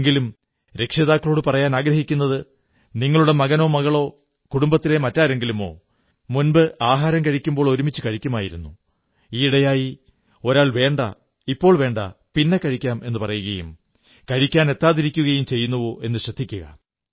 എങ്കിലും രക്ഷിതാക്കളോടു പറയാനാഗ്രഹിക്കുന്നത് നിങ്ങളുടെ മകനോ മകളോ കുടുംബത്തിലെ മറ്റാരെങ്കിലുമോ മുമ്പ് ആഹാരം കഴിക്കുമ്പോൾ ഒരുമിച്ച് കഴിക്കുമായിരുന്നു ഈയിടെയായി ഒരാൾ വേണ്ട ഇപ്പോൾ വേണ്ട പിന്നെ കഴിക്കാം എന്നു പറയുകയും കഴിക്കാൻ എത്താതിരിക്കുകയും ചെയ്യുന്നുവോ എന്നു ശ്രദ്ധിക്കുക